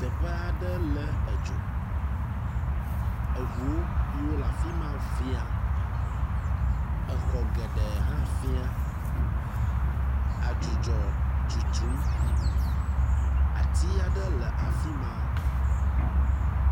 Teƒe aɖe le edzo, eʋuo yio le afima fĩa, exɔ geɖe hã fĩa. Adzidzɔ tsotsom, ati aɖe le afima.